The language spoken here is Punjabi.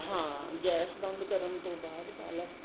ਹਾਂ ਗੈਸ ਬੰਦ ਕਰਨ ਤੋਂ ਬਾਅਦ ਪਾ ਲਾ